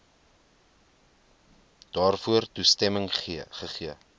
daarvoor toestemming gegee